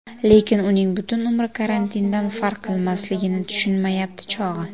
Lekin uning butun umri karantindan farq qilmasligini tushunmayapti chog‘i”.